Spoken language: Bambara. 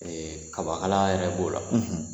Ɛɛ kabakala yɛrɛ b'o la